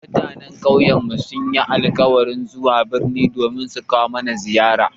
Mutanen ƙauyen sun yi alkawarin zuwa birni don sukawo mana ziyara